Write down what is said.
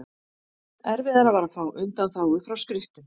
erfiðara var að fá undanþágu frá skriftum